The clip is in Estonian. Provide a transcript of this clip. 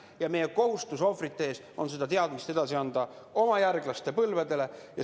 Ja meie kohustus ohvrite ees on seda teadmist edasi anda oma järglaste põlvedele.